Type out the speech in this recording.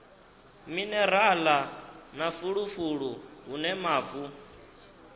minerala na fulufulu hune mavu